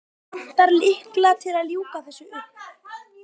Vantar lykla til að ljúka þessu upp.